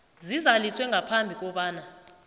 zizaliswe ngaphambi kobana